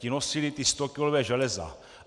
Ti nosili ta stokilová železa.